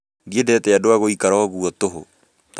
Ndiendete andũ a gũikara oũguo tũhũ